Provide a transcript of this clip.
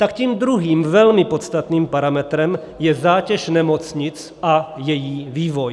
Tak tím druhým, velmi podstatným parametrem je zátěž nemocnic a její vývoj.